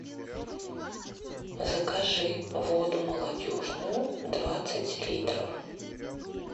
закажи воду молодежную двадцать литров